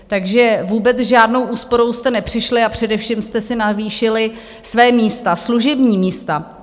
Takže vůbec s žádnou úsporou jste nepřišli, a především jste si navýšili svá místa, služební místa.